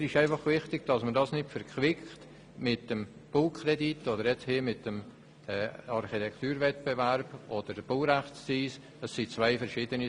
Mir ist einfach wichtig, dass man das nicht mit dem Baukredit, dem Architekturwettbewerb oder dem Baurechtszins verquickt.